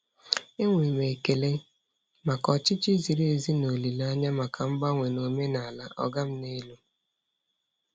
E nwere m ekele maka ọchịchị ziri ezi na olile anya maka mgbanwe na omenala "ọga m n'elu".